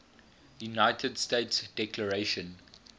united states declaration